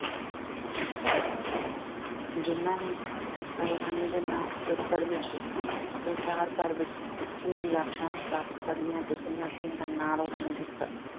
ਜਿਨ੍ਹਾਂ ਨੇ ਪਹਿਲਵਾਨੀ ਦੇ ਨਾਂ ਖੇਤਰ ਵਿੱਚ ਸੰਸਾਰ ਭਰ ਵਿੱਚ ਉੱਚੀਆਂ ਜਿੱਤਾਂ ਪ੍ਰਾਪਤ ਕਰੀਆਂ ਤੇ ਪੰਜਾਬੀਆਂ ਦਾ ਨਾਂ ਰੋਸ਼ਨ ਕੀਤਾ।